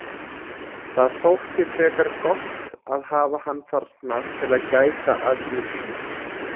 Það þótti frekar gott að hafa hann þarna til að gæta að ýmsu.